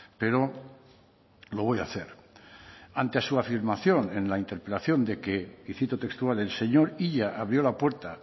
pero lo voy a hacer ante su afirmación en la interpelación de que y cito textual el señor illa abrió la puerta